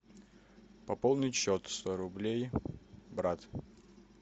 пополнить счет сто рублей брат